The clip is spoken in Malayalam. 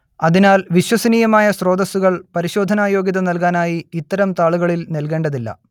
അതിനാൽ വിശ്വസനീയമായ സ്രോതസ്സുകൾ പരിശോധനായോഗ്യത നൽകാനായി ഇത്തരം താളുകളിൽ നൽകേണ്ടതില്ല